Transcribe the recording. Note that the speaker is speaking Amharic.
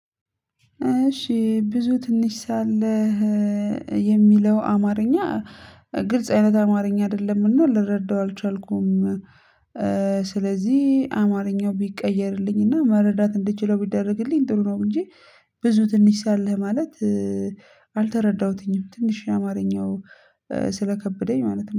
እሺ፤ ብዙ ትንሽ ሳለህ የሚለው አማርኛ ግልጽ አይነት አማርኛ አይደለም። እና ልረዳው አልቻልኩም። ስለዚህ አማርኛው ቢቀየርልኝና መረዳት እንድችለው ቢደረግልኝ ጥሩ ነው፤ እንጂ ብዙ ትንሽ ሳለህ ማለት አልተረዳሁትኝም። ትንሽ አማርኛው ስለከበደኝ ማለት ነው።